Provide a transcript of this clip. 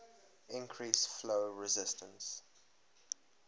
increase flow resistance